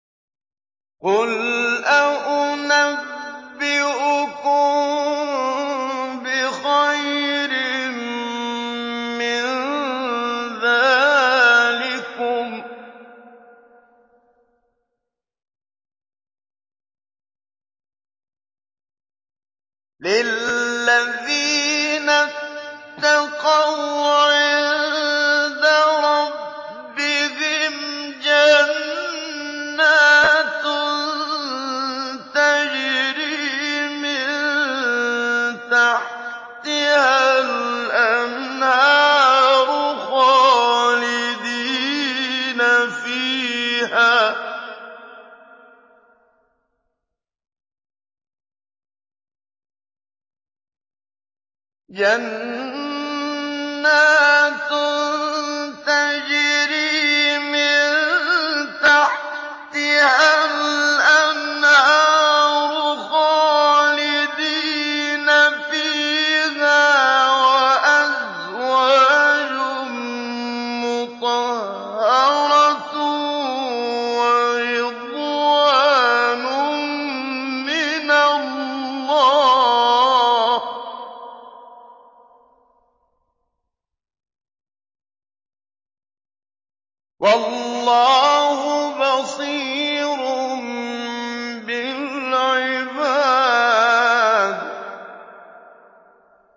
۞ قُلْ أَؤُنَبِّئُكُم بِخَيْرٍ مِّن ذَٰلِكُمْ ۚ لِلَّذِينَ اتَّقَوْا عِندَ رَبِّهِمْ جَنَّاتٌ تَجْرِي مِن تَحْتِهَا الْأَنْهَارُ خَالِدِينَ فِيهَا وَأَزْوَاجٌ مُّطَهَّرَةٌ وَرِضْوَانٌ مِّنَ اللَّهِ ۗ وَاللَّهُ بَصِيرٌ بِالْعِبَادِ